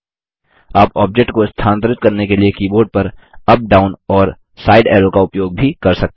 आप ऑब्जेक्ट को स्थानांतरित करने के लिए कीबोर्ड पर अप डाउन और साइड ऐरो का उपयोग भी कर सकते हैं